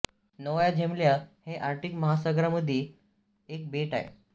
Novaya Zemlya हे Arctic महासागरामधील एक बेट आहे